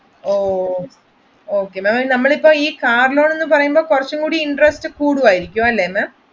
Okay നമ്മൾ ഈ car loan എന്ന് പറയുമ്പോൾ കുറച്ച് കൂടി interest കൂടുമായിരിക്കും അല്ലെ ma'am.